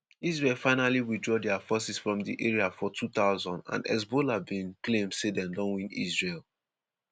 israel finally withdraw dia forces from di area for 2000 and hezbollah bin claim say dem don win israel.